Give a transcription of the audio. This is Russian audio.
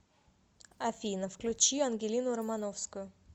афина включи ангелину романовскую